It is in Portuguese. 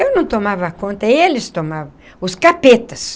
Eu não tomava conta, eles tomavam, os capetas.